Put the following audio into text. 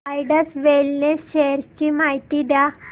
Zydus Wellness shares ची माहिती द्या